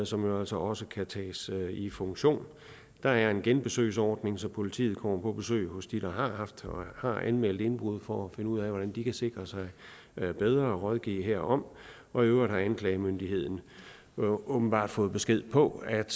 som jo altså også kan tages i funktion der er en genbesøgsordning så politiet kommer på besøg hos dem der har haft og har anmeldt indbrud for at finde ud af hvordan de kan sikre sig bedre og rådgive herom og i øvrigt har anklagemyndigheden åbenbart fået besked på at